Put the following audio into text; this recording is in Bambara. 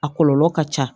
A kɔlɔlɔ ka ca